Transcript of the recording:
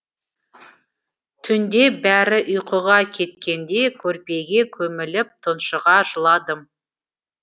түнде бәрі ұйқыға кеткенде көрпеге көміліп тұншыға жыладым